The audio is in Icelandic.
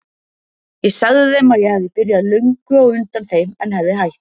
Ég sagði þeim að ég hefði byrjað löngu á undan þeim en hefði hætt.